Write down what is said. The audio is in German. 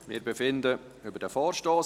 Wir befinden über diesen Vorstoss.